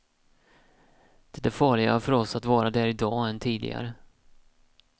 Det är farligare för oss att vara där idag än tidigare.